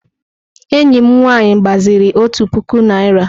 Enyi m nwaanyị gbaziri òtù puku naịra.